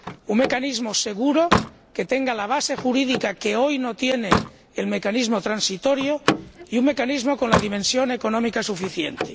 un mecanismo seguro, que tenga la base jurídica que hoy no tiene el mecanismo transitorio, y un mecanismo con la dimensión económica suficiente.